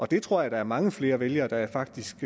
det tror jeg der er mange flere vælgere der faktisk